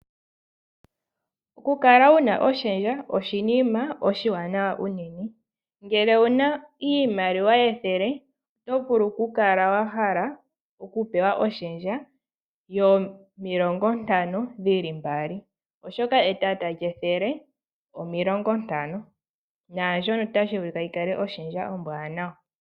Okukala wu na oshendja oshinima oshiwanawa unene. Ngele owu na iimaliwa yethele oto vulu okukala wa hala okupewa oshendja yomilongontano dhi li mbali, oshoka etata lyethele omilongontano. Naandjono otashi vulika yi kale oshendja ombwaanawa.